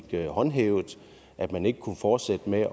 blev håndhævet at man ikke kunne fortsætte med